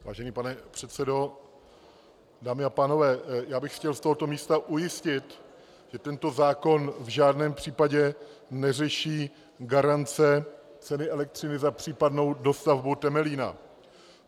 Vážený pane předsedo, dámy a pánové, já bych chtěl z tohoto místa ujistit, že tento zákon v žádném případě neřeší garance ceny elektřiny za případnou dostavbu Temelína.